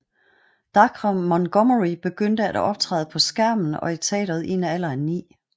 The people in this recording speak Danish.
Dacre Montgomery begyndte at optræde på skærmen og i teateret i en alder af ni